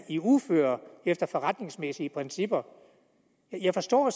i uføre efter forretningsmæssige principper jeg forstår